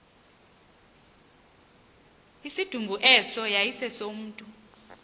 isidumbu eso yayisesomntu